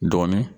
Dɔɔnin